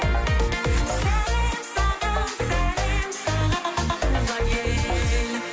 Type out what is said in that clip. сәлем саған сәлем саған туған ел